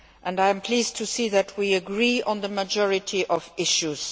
I am pleased to see that we agree on the majority of issues.